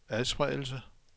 adspredelse